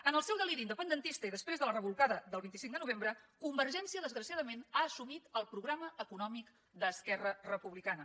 en el seu deliri independentista i després de la rebolcada del vint cinc de novembre convergència desgraciadament ha assumit el programa econòmic d’esquerra republicana